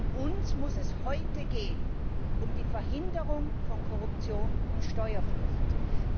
Denn uns muss es heute um die Verhinderung von Korruption und Steuerflucht gehen.